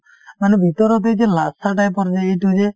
মানে ভিতৰত এই যে type ৰ যে এইটো যে